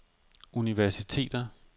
universiteter